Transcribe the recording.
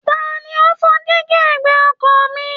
Ta ni ó fọ́ díígí ẹ̀gbẹ́ ọkọ̀ mi